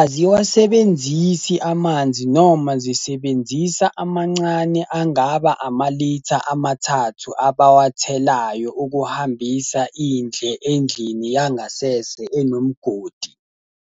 Aziwasebenzisi amanzi noma zisebenzisa amancane angaba amalitha amathathu abawathelayo ukuhambisa indle endlini yangasese enomgodi.